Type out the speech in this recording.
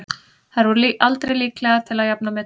Þær voru aldrei líklegar til að jafna metin.